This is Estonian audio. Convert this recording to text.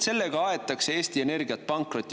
Sellega aetakse Eesti Energiat pankrotti.